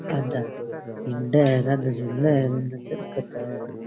आधा हिंडे है आधा झूले इन दरख्त है।